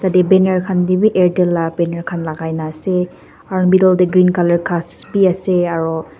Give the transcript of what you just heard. yadae banner khan taebi airtel laga banner khan lagai kina asae aro middle dae green colour khas bi asae aroo.